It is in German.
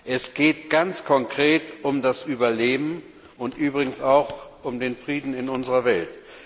Es geht ganz konkret um das Überleben und übrigens auch um den Frieden in unserer Welt.